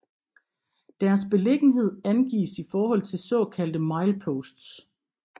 Deres beliggenhed angives i forhold til såkaldte mileposts